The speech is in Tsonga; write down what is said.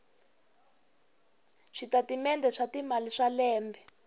switatimende swa timali swa lembe